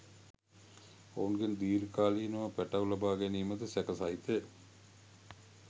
ඔවුන්ගෙන් දිර්ඝ කාලීනව පැටව් ලබා ගැනීමද සැක සහිතය